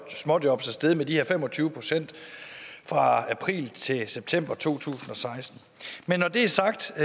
småjobs er steget med de her fem og tyve procent fra april til september to tusind og seksten men når det er sagt er